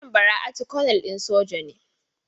Mijin Bara'atu konel din soja ne?